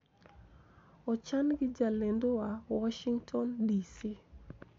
Ochan gi jalendowa, Washington DC.